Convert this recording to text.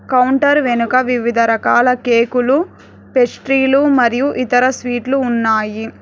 Counter వెనుక వివిధ రకాల కేకులు పెస్ట్రీలు మరియు ఇతర స్వీట్లు ఉన్నాయి.